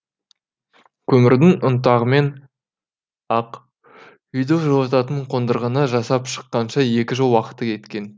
көмірдің ұнтағымен ақ үйді жылытатын қондырғыны жасап шыққанша екі жыл уақыты кеткен